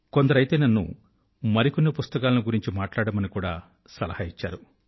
కొందరయితే నన్ను మరికొన్ని పుస్తకాలను గురించి మాట్లాడమని కూడా సలహా ఇచ్చారు